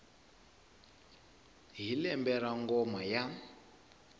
hi lembe ra ngoma ya